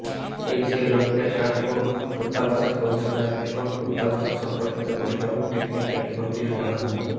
এ বিষয়ে রোহিঙ্গা ত্রাণ ও প্রত্যাবাসন কমিশনার এবং প্রত্যাবাসন সম্পর্কিত গঠিত টেকনিক্যাল কমিটির প্রধান মো